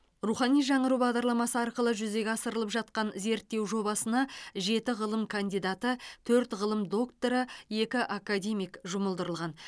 рухани жаңғыру бағдарламасы арқылы жүзеге асырылып жатқан зерттеу жобасына жеті ғылым кандидаты төрт ғылым докторы екі академик жұмылдырылған